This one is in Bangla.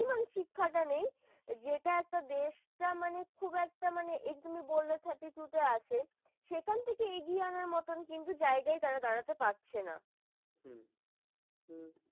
শিক্ষাটা নেই যেটা একটা দেশটা মানে খুব খুব একটা মানে এই যে তুমি বললে thirty-three তে আছে। সেখান থেকে এগিয়ে আনার মত জায়গা গাই তারা দাঁড়াতে পারছে না হম